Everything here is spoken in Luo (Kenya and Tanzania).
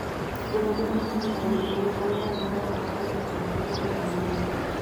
Gweno dwarore ni oyud muya maler moromo mar geng'o chandruoge mag yueyo.